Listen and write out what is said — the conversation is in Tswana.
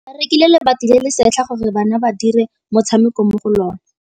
Ba rekile lebati le le setlha gore bana ba dire motshameko mo go lona.